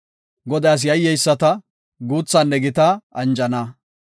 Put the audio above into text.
Godaas yayyeyisata, guuthaa gita anjana.